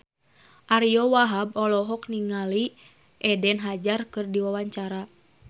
Ariyo Wahab olohok ningali Eden Hazard keur diwawancara